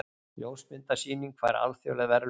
Ljósmyndasýning fær alþjóðleg verðlaun